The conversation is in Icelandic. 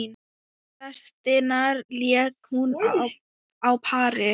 Restina lék hún á pari.